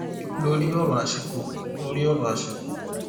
lóri ọrọ àsìkò lóri ọrọ àsìkò